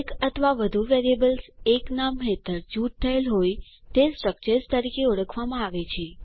એક અથવા વધુ વેરિયેબલ્સ એક નામ હેઠળ જૂથ થયેલ હોય તે સ્ટ્રક્ચર્સ તરીકે ઓળખાય છે